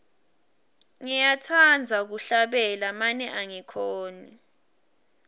ngiyatsandza kuhlabela mane angikhoni